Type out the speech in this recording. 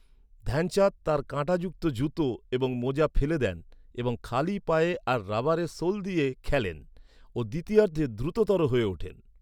ধ্যানচাঁদ তাঁর কাঁটাযুক্ত জুতো এবং মোজা ফেলে দেন এবং খালি পায়ে আর রাবারের সোল দিয়ে খেলেন ও দ্বিতীয়ার্ধে দ্রুততর হয়ে ওঠেন।